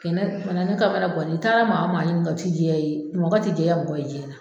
Kɛnɛ ka na ne kamanangannen i taara maa o maa ɲininka o tɛ jɛya i ye mɔgɔ tɛ jɛya mɔgɔ jiyɛn na.